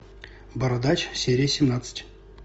бородач серия семнадцать